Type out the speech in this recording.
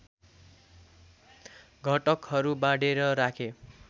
घटकहरू बाँडेर राखे